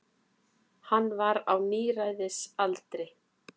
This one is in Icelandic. Hann var á níræðisaldri.